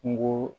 Kungo